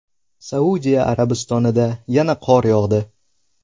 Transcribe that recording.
Saudiya Arabistonida yana qor yog‘di.